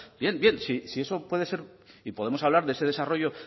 bien bien si eso puede ser y podemos hablar de ese desarrollo